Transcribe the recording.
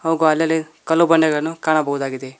ಹಾಗು ಅಲ್ಲಲ್ಲಿ ಕಲ್ಲು ಬಂಡೆಗಳನ್ನು ಕಾಣಬಹುದಾಗಿದೆ.